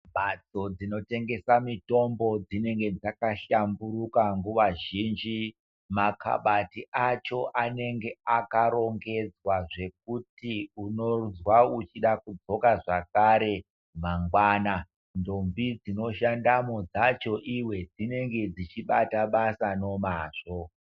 Mhatso dzinotengesa mitombo dzinenge dzaka shamburuka nguva zhinji makabati acho anenge akarongedzwa zvekuti unozwa uchida kudzoka zvakare mangwana. Ndombi dzino shandamwo dzacho iwe dzinenge dzichibata basa nomazvo.